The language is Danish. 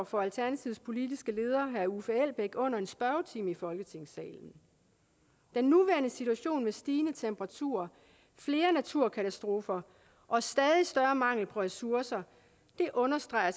for alternativets politiske leder herre uffe elbæk under en spørgetime i folketingssalen den nuværende situation med stigende temperaturer flere naturkatastrofer og stadig større mangel på ressourcer understreger